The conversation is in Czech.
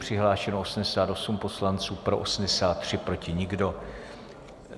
Přihlášeno 88 poslanců, pro 83, proti nikdo.